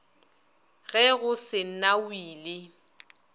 ge go se na wili